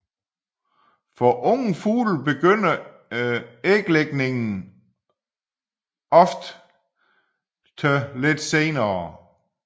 For unge fugle begynder æglægningen ofte lidt senere